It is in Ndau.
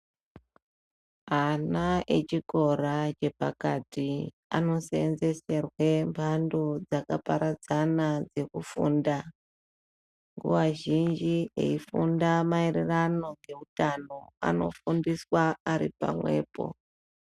Ana echikora chepakati anosenzeserwe mhando dzakaparadzana dzekufunda ,nguwa zhinji eifunda maererano ngeutano anofundiswa aripamwepo.